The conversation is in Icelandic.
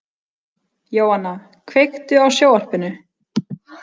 Jóanna, kveiktu á sjónvarpinu.